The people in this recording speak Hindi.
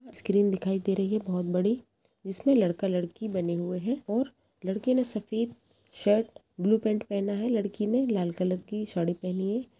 स्क्रीन दिखाई दे रही है। बोहोत बड़ी जिसमे लड़का लड़की बने हुए हैं और लड़के ने सफ़ेद शर्ट ब्लू पेंट पहना है और लड़की ने लाल कलर की साड़ी पहनी है।